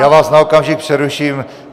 Já vás na okamžik přeruším.